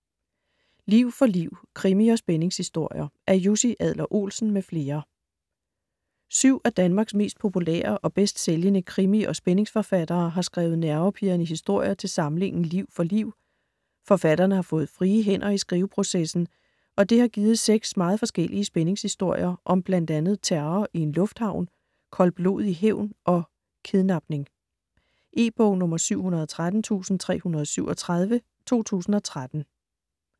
Liv for liv: krimi- og spændingshistorier Af Jussi Adler-Olsen m.fl. Syv af Danmarks mest populære og bedst sælgende krimi- og spændingsforfattere har skrevet nervepirrende historier til samlingen Liv for liv. Forfatterne har fået frie hænder i skriveprocessen, og det har givet seks meget forskellige spændingshistorier om blandt andet terror i en lufthavn, koldblodig hævn og kidnapning. E-bog 713337 2013.